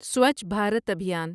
سوچھ Bharat ابھیان